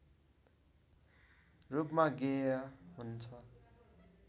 रूपमा गेय हुन्छ